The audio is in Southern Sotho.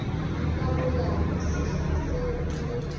nka bonyane sehla se le